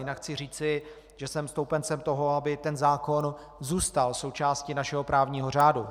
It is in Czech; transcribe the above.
Jinak chci říci, že jsem stoupencem toho, aby tento zákon zůstal součástí našeho právního řádu.